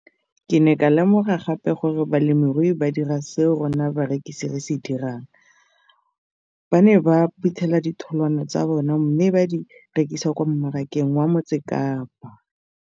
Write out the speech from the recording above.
Ke ne ka lemoga gape gore balemirui ba dira seo rona barekisi re se dirang ba ne ba phuthela ditholwana tsa bona mme ba di rekisa kwa marakeng wa Motsekapa.